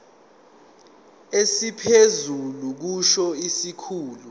esiphezulu kusho isikhulu